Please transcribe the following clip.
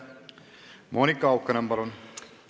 Monika Haukanõmm, palun!